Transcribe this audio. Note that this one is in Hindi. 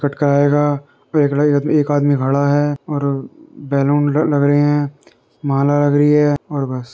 एक आदमी खड़ा है और अ बैलून ल लग रहे हैं। माला लग रही हैं और बस।